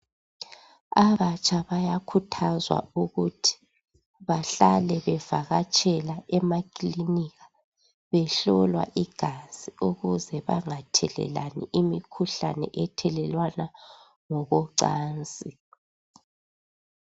Abatsha bayakhuthazwa ukuthi bahlale bevakatshela emakilinika, behlolwa igazi ukuze bangathelelani imikhuhlane ethelelwana ngokocansi.